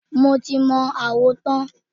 Mo ti mọ àwo tán.